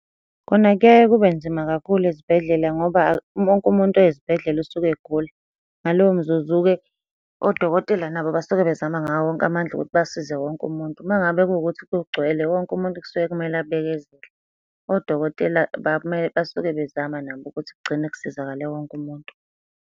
Khona kuyaye kube nzima kakhulu ezibhedlela ngoba wonke umuntu oya esibhedlela usuke egula. Ngaloyo mzuzu-ke, odokotela nabo basuke bezama ngawo wonke amandla ukuthi basize wonke umuntu. Uma ngabe kuwukuthi kugcwele wonke umuntu kusuke kumele abekezele. Odokotela basuke bezama nabo ukuthi kugcine kusizakale wonke umuntu.